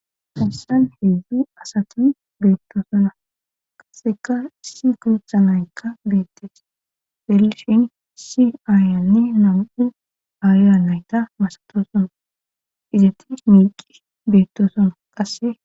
hassan hedzdzu asati beettosona qaseka si guutha naykka beettes belshin si aayanne nam7u aaya nayta masatosona izatis miiqi beettosona qasse.